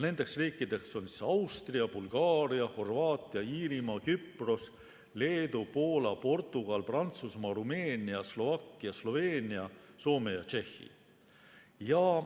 Nendeks riikideks on Austria, Bulgaaria, Horvaatia, Iirimaa, Küpros, Leedu, Poola, Portugal, Prantsusmaa, Rumeenia, Slovakkia, Sloveenia, Soome ja Tšehhi.